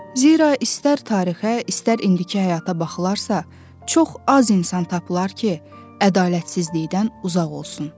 Zira istər tarixə, istər indiki həyata baxılarsa, çox az insan tapılar ki, ədalətsizlikdən uzaq olsun.